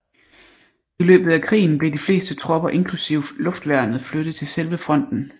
I løbet af krigen blev de fleste tropper inklusive luftværnet flyttet til selve fronten